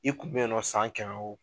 I kun bɛ yennɔ san kɛmɛ wo.